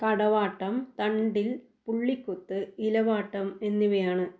തടവാട്ടം തണ്ടിൽ പുള്ളിക്കുത്ത് ഇലവാട്ടം എന്നിവയാണ്.